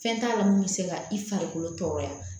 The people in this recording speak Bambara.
Fɛn t'a la mun bɛ se ka i farikolo tɔɔrɔya